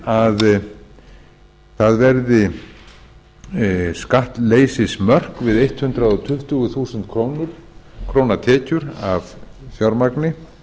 við leggjum til að það verði skattleysismörk við hundrað tuttugu þúsund króna tekjur af fjármagni